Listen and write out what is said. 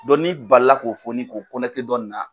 Dɔn n'i bali la k'o foni k'o kɔnɛte dɔ nin na.